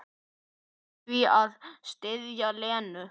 Hlaut því að styðja Lenu.